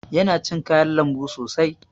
Yana cin kayan lambu sosai.